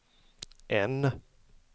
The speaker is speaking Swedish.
N